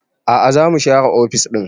A'a za mu share ofis ɗin